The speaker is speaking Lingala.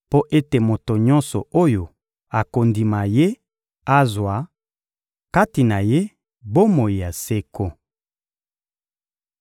mpo ete moto nyonso oyo akondima Ye azwa, kati na Ye, bomoi ya seko.